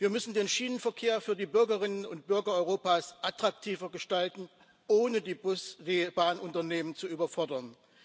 Wir müssen den Schienenverkehr für die Bürgerinnen und Bürger Europas attraktiver gestalten, ohne die Bahnunternehmen zu überfordern.